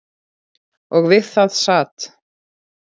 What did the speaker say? Og við það sat.